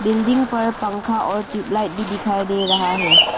Building पर पंखा और ट्यूबलाइट भी दिखाई दे रहा है।